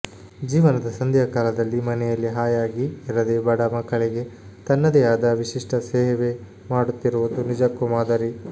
ಜೀವನದ ಸಂಧ್ಯಾಕಾಲದಲ್ಲಿ ಮನೆಯಲ್ಲಿ ಹಾಯಾಗಿ ಇರದೆ ಬಡ ಮಕ್ಕಳಿಗೆ ತನ್ನದೇ ಆದ ವಿಶಿಷ್ಟ ಸೇವೆ ಮಾಡುತ್ತಿರುವುದು ನಿಜಕ್ಕೂ ಮಾದರಿ